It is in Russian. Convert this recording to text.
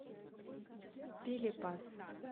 пилипас